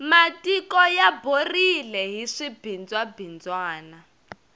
matiko ya borile hi swibindzwa bindzwana